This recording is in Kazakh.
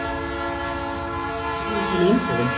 арман сәлем сәлем